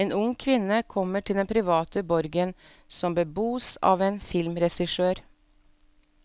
En ung kvinne kommer til den private borgen som bebos av en filmregissør.